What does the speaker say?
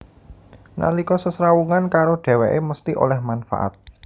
Nalika sesrawungan karo dhèwèké mesthi oleh manfaat